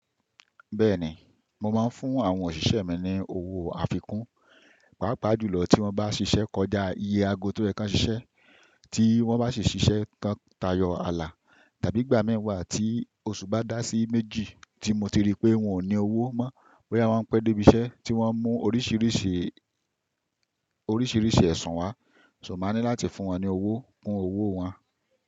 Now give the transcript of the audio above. Bẹ́ẹ̀ni, mo máa ń fún àwọn òṣìṣẹ́ mi ní owó àfikún, pàápàá jùlọ tí wọ́n bá ṣiṣẹ́ kọjá iye aago tó yẹ kán ṣiṣẹ́, tí wọ́n bá sì ṣiṣẹ́ tán tayọ ààlà tàbí ìgbà mẹ́wàá tí oṣù bá dá sí méjì tí mo ti rí pé wọn ò ní owó mọ́ bóyá wọ́n pẹ́ dé ibi iṣẹ́ tí wọ́n mú oríṣìíríṣìí, oríṣìíríṣìí ẹ̀sùn wá, ṣo máa ní láti fún wọn ní owó kún owó wọn.